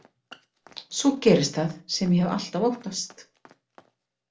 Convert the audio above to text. Svo gerist það sem ég hef alltaf óttast.